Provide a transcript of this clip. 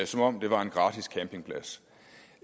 som om det var en gratis campingplads